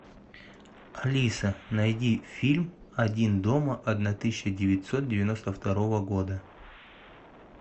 алиса найди фильм один дома одна тысяча девятьсот девяносто второго года